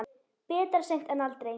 Betra seint en aldrei.